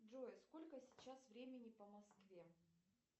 джой сколько сейчас времени по москве